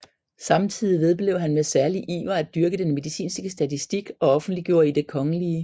Samtidig vedblev han med særlig iver at dyrke den medicinske statistik og offentliggjorde i Det kgl